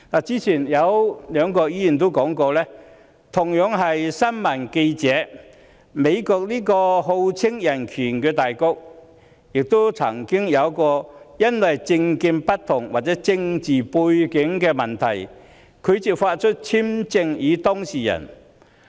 早前有兩位議員提到，美國這個號稱人權大國的國家，亦曾因為政見不同或政治背景問題，拒發簽證予新聞記者。